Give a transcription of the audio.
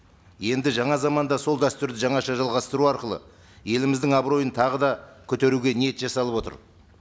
енді жаңа заманда сол дәстүрді жаңаша жалғастыру арқылы еліміздің абыройын тағы да көтеруге ниет жасалып отыр